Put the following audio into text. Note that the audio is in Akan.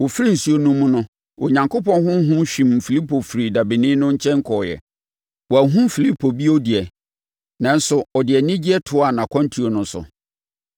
Wɔfiri nsuo no mu no, Onyankopɔn Honhom hwim Filipo firii dabeni no nkyɛn kɔeɛ. Wanhunu Filipo bio de, nanso ɔde anigyeɛ toaa nʼakwantuo no so.